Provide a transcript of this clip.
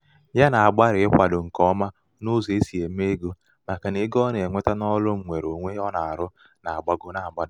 ya nà-àgbalị̀ ịkwādō ṅ̀kè ọma ụzọ̀ e si ème ego màkà nà ego ọ nà-ènweta n’ọrụ ṅwere ōnwē ọ nà-àrụ nà-àgbago na-àgbadà.